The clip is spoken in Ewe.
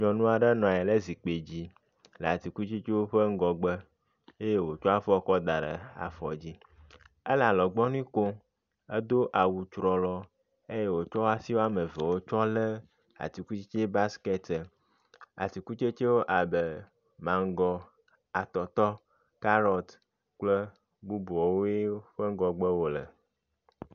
Nyɔnu aɖe nɔ anyi ɖe zikpui dzi le atikutsetsewo ƒe ŋgɔgbe eye wotsɔ afɔ da ɖe afɔ dzi. ele alɔgbɔnui kom. Edo awu trɔlɔ eye wotsɔ wo asi wɔme evewo tsɔ le atikutsetse basiketia. Atikutsetsewo abe mago, atɔtɔ, kaɖɔt kple bubuawoe ƒe ɖgɔgbe wo le.